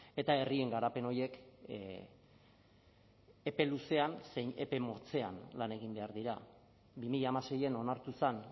eta herrien garapen horiek epe luzean zein epe motzean lan egin behar dira bi mila hamaseian onartu zen